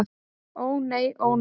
Ó nei, ó nei!